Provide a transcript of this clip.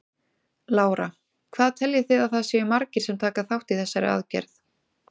Lára: Hvað teljið þið að það séu margir sem taka þátt í þessari aðgerð?